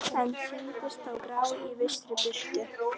En sýndust þó grá í vissri birtu.